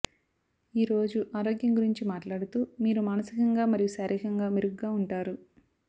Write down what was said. ఈ రోజు ఆరోగ్యం గురించి మాట్లాడుతూ మీరు మానసికంగా మరియు శారీరకంగా మెరుగ్గా ఉంటారు